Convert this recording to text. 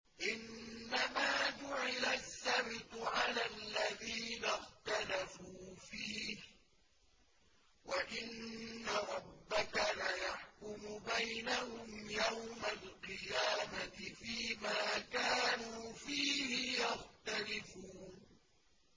إِنَّمَا جُعِلَ السَّبْتُ عَلَى الَّذِينَ اخْتَلَفُوا فِيهِ ۚ وَإِنَّ رَبَّكَ لَيَحْكُمُ بَيْنَهُمْ يَوْمَ الْقِيَامَةِ فِيمَا كَانُوا فِيهِ يَخْتَلِفُونَ